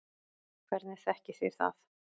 Hvernig þekkið þið það?